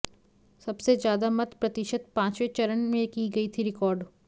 सबसे ज्यादा मत प्रतिशत पांचवें चरण में की गई थी रिकॉर्ड